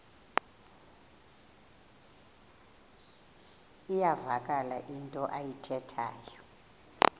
iyavakala into ayithethayo